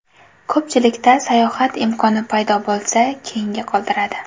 Ko‘pchilikda sayohat imkoni paydo bo‘lsa, keyinga qoldiradi.